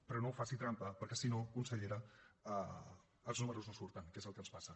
però no faci trampa perquè si no consellera els números no surten que és el que ens passa